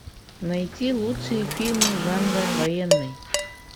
найти лучшие фильмы жанра военный